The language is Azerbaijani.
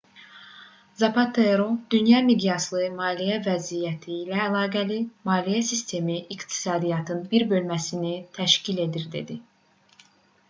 zapatero dünya miqyaslı maliyyə vəziyyəti ilə əlaqəli maliyyə sistemi iqtisadiyyatın bir bölməsini təşkil edir dedi